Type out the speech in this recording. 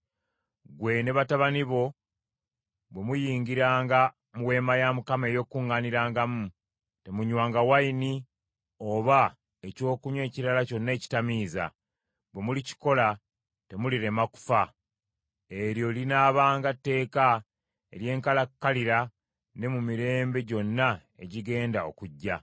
“Ggwe ne batabani bo bwe muyingiranga mu Weema ey’Okukuŋŋaanirangamu temunywanga envinnyo oba ekyokunywa ekirala kyonna ekitamiiza; bwe mulikikola temulirema kufa. Eryo linaabanga tteeka ery’enkalakkalira ne mu mirembe gyonna egigenda okujja.